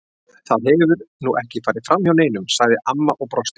Það hefur nú ekki farið fram hjá neinum, sagði amma og brosti.